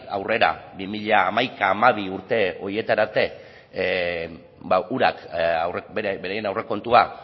aurrera bi mila hamaika bi mila hamabi urte horietara arte urak beraien aurrekontuak